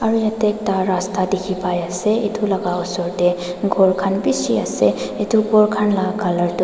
jatte ekta rasta dekhi pai ase etu laga osor te ghor khan bisi ase etu ghor khan laga colour tu --